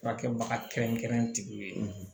Furakɛbaga kɛrɛnkɛrɛnnenw ye